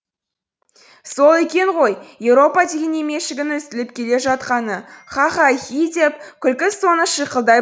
сол екен ғой еуропа деп емешегің үзіліп келе жатқаны ха ха хи деп күлкі соңы шиқылдай